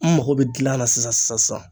N mago bɛ gilan na sisan sisan sisan